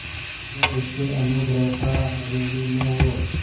जो उसके अनुग्रहों का ऋणी न हो